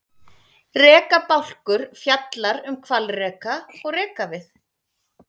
Rekabálkur fjallar um hvalreka og rekavið.